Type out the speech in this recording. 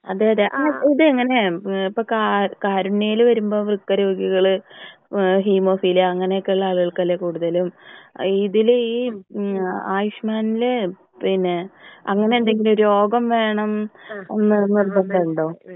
അതെ അതെ പിന്നെ ഇത് എങ്ങനെ ഇപ്പോ കാരുണ്യയിൽ വരുമ്പോ വൃക്ക രോഗികൾ ഏഹ് ഹിമോഫീലിയ അങ്ങനെയൊക്കെ ഉള്ള ആളുകൾക്ക് അല്ലേ കൂടുതലും ഇതിൽ ഈ ഉം ആയുഷ്മാൻ ൽ പിന്നെ ഇങ്ങനെ എന്തെങ്കിലും രോഗം വേണം എന്ന് നിർബന്ധമുണ്ടോ?